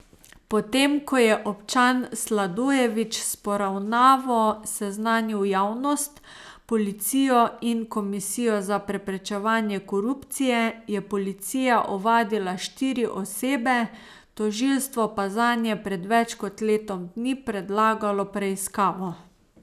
Potem ko je občan Sladojevič s poravnavo seznanil javnost, policijo in komisijo za preprečevanje korupcije, je policija ovadila štiri osebe, tožilstvo pa zanje pred več kot letom dni predlagalo preiskavo.